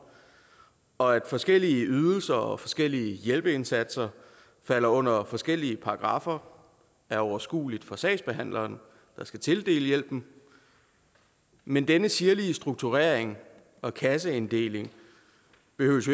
og at forskellige ydelser og forskellige hjælpeindsatser falder under forskellige paragraffer er overskueligt for sagsbehandleren der skal tildele hjælpen men denne sirlige strukturering og kasseinddeling behøver